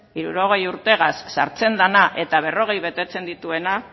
hirurogeita hamar urtegaz sartzen dena eta berrogei betetzen dituena